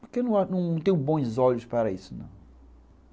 Porque eu não tenho bons olhos para isso, não.